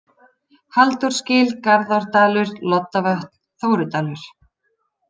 Halldórsgil, Garðsárdalur, Loddavötn, Þórudalur